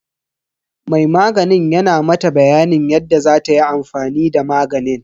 Mai maganin yana mata bayanin yadda zatayi amfani da maganin.